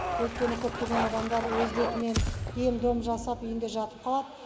өйткені көптеген адамдар өз бетімен ем дом жасап үйінде жатып қалады